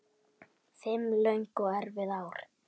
Fimm löng og erfið ár.